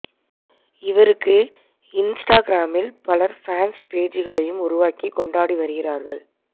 இவருக்கு இன்ஸ்டாகிராமில் பலர் ஃபேன்ஸ் பேஜ்களையும் உருவாக்கி கொண்டாடி வருகிறார்கள்